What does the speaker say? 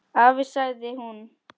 Afi, sagði hún.